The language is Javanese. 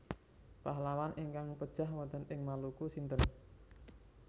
Pahlawan ingkang pejah wonten ing Maluku sinten